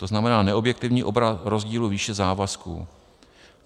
To znamená neobjektivní obraz rozdílu výše závazků.